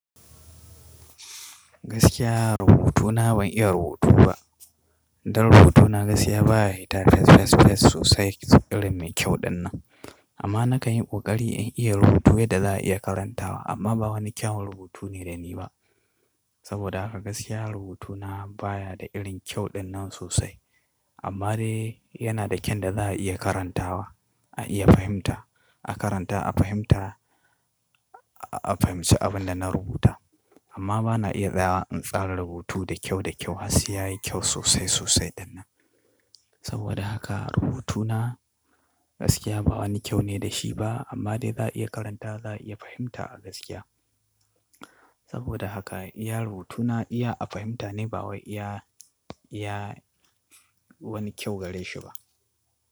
Gaskiya rubutuna ban iya rubutu ba. Dan rubutuna gaskiya baya hitata sosai irin mai kyau dannan. Amma na kan yi ƙoƙari in iya rubuta yadda za a iya karantawa amma ba wani kyawun rubutu ne da ni ba. Saboda haka gaskiya rubutuna baya da irin kyau dinnan sosai. Amma dai yana da kyan da za a iya karantawa, a iya fahimta, a karanta a fahimta, a fahimci abin da na rubuta. Amma bana iya tsara rubutu da kyau da kyau har sai yayi kyau sosai sosai dinnan. Saboda haka rubutuna gaskiya ba wani kyau ne da shi ba amma dai za a iya karanta za a iya fahimta a gaskiya. Saboda haka iya rubutuna iya a fahimta ne ba wai iya, iya wani kyau gare shi ba.